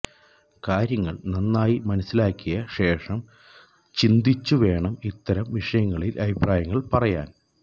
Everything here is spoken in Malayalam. കാര്യങ്ങള് നന്നായി മനസിലാക്കിയ ശേഷം ചിന്തിച്ചു വേണം ഇത്തരം വിഷയങ്ങളില് അഭിപ്രായങ്ങള് പറയാന്